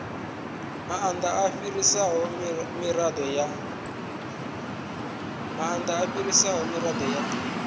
maanda u fhirisa mirado ya